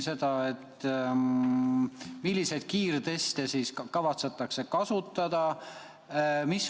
Milliseid kiirteste kavatsetakse kasutada?